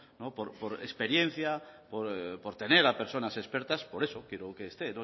por experiencia por tener a personas expertas por eso quiero que esté